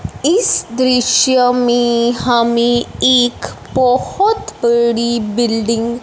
इस दृश्य में हमे एक बहोत बड़ी बिल्डिंग --